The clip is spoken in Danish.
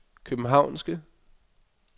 københavnske